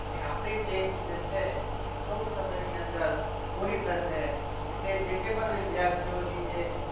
અને આપણી test જે છે એ ટૂંક સમયની અંદર પૂરી થશે એટલે જે પણ કંઈ વિદ્યાર્થીઓની જે